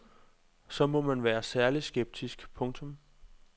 Så må man være særlig skeptisk. punktum